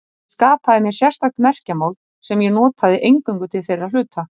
Ég skapaði mér sérstakt merkjamál sem ég notaði eingöngu til þeirra hluta.